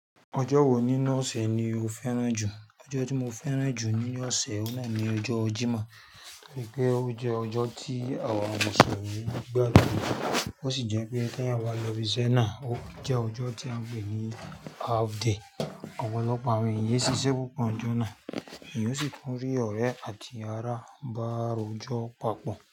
Ọjọ́ wo nínú ọ̀sẹ̀ ni o fẹ́ràn jù? Ọjọ́ tí mo fẹ́ràn jù ní ọ̀sẹ̀ ọ̀nà ni ọjọ́ Jímọ̀, torí pé ó jẹ́ ọjọ́ tí àwọn àwọn òṣèré ń gba lójú, ó sì jẹ́ pé kí á wá lọ ibi ṣẹ́na, ó jẹ́ ọjọ́ tí a ń pè ní half day. Ọ̀pọ̀lọpọ̀ àwọn ènìyàn ṣiṣẹ́ gbogbo ọjọ́ náà, èèyàn sì tún rí ọ̀rẹ́ àti ará báru ọjọ́ papọ̀